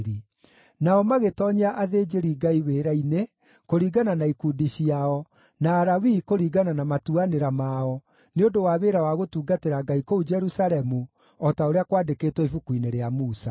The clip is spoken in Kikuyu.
Nao magĩtoonyia athĩnjĩri-Ngai wĩra-inĩ kũringana na ikundi ciao, na Alawii kũringana na matuanĩra mao, nĩ ũndũ wa wĩra wa gũtungatĩra Ngai kũu Jerusalemu o ta ũrĩa kwandĩkĩtwo Ibuku-inĩ rĩa Musa.